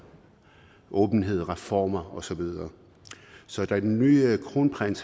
åbenhed reformer og så videre så da den nye kronprins